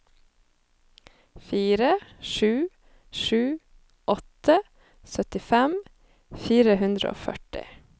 fire sju sju åtte syttifem fire hundre og førti